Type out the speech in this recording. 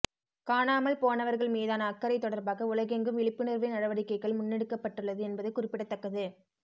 காணாமல் போனவர்கள் மீதான அக்கறை தொடர்பாக உலகெங்கும் விழிப்புணர்வு நடவடிக்கைகள் முன்னெடுக்கப்பட்டுள்ளது என்பது குறிப்பிடத்தக்கது